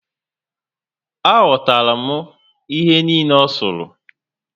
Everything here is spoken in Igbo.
Aghotala m ihe niile o suru